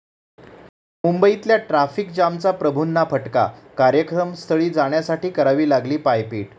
मुंबईतल्या ट्राफिक जॅमचा प्रभूंना फटका, कार्यक्रमस्थळी जाण्यासाठी करावी लागली पायपीट